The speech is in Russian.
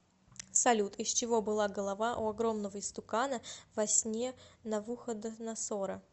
салют из чего была голова у огромного истукана во сне навуходоносора